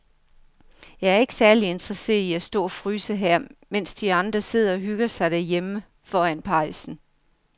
Jeg er ikke særlig interesseret i at stå og fryse her, mens de andre sidder og hygger sig derhjemme foran pejsen.